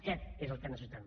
aquest és el que necessitem